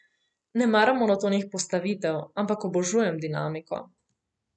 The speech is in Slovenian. Ne maram monotonih postavitev, ampak obožujem dinamiko.